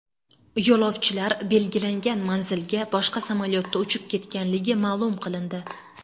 Yo‘lovchilar belgilangan manzilga boshqa samolyotda uchib ketganligi ma’lum qilindi.